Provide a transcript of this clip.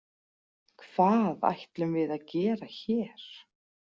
Hvað ætlum við að gera hér?